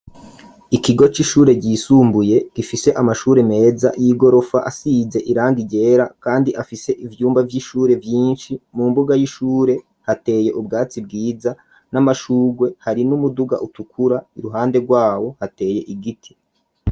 ikigo c'ishure ryisumbuye gifise amashure meza y'igorofa asize irangigera kandi afise ivyumba vy'ishure vyinshi mu mbuga y'ishure hateye ubwatsi bwiza n'amashugwe hari n'umuduga utukura iruhande rwawo hateye igiti.